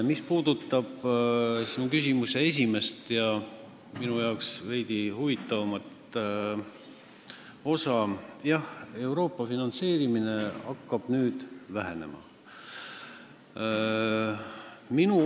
Mis puudutab sinu küsimuse esimest ja minu arvates veidi huvitavamat osa, siis jah, Euroopa finantseerimine hakkab vähenema.